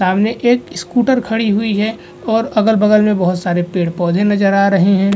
सामने एक स्कूटर खड़ी हुई है और अगल-बगल में बहोत सारे पेड़-पौधे नजर आ रहे हैं।